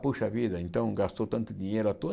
Poxa vida, então gastou tanto dinheiro à toa?